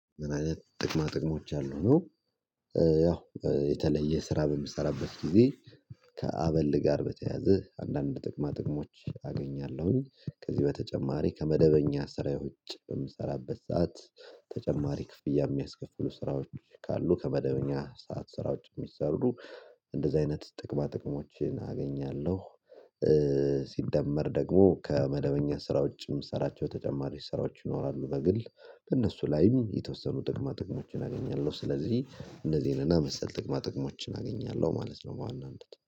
ምን? አይነት ጥቅማ ጥቅሞች አሉ ነው። ያው የተለየ ስራ በምሰራበት ጊዜ ከአበል ጋር በተያዘ አንዳንድ ጥቅማ ጥቅሞች አገኛለሁኝ ከዚህ በተጨማሪ ከመደበኛ ስራዎች ውጭ በምሰራበት ሰዓት ተጨማሪ ክፍያ የሚያስከፍሉ ስራዎች ካሉ ከመደበኛ ሰዓት ስራዎች የሚሰሩ እንደዚህ አይነት ጥቅማ ጥቅሞችን አገኛለሁ። ሲደመር ደግሞ ከመደበኛ ስራ ውጪም ስራቸው ተጨማሪ ስራዎች ይኖራሉ በግል በእነሱ ላይም የተወሰኑ ጥቅማ ጥቅሞችን አገኛለሁ። ስለዚህ እንደዚህ የነና መሰል ጥቅማ ጥቅሞችን አገኛለሁ ማለት ነው በዋናነት